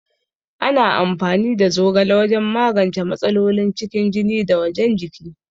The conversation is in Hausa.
Ana amfani da zogala wajan magance matsalolin cikin jiki da wajan jiki